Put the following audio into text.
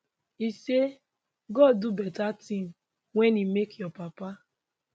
e say god do beta tin wen e make your papa